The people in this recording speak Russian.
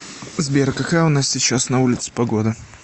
сбер какая у нас сейчас на улице погода